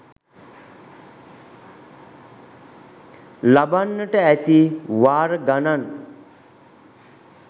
ලබන්නට ඇති වාර ගණන්